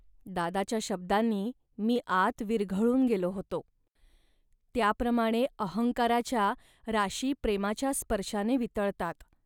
.दादाच्या शब्दांनी मी आत विरघळून गेलो होतो. त्याप्रमाणे अहंकाराच्या राशी प्रेमाच्या स्पर्शाने वितळतात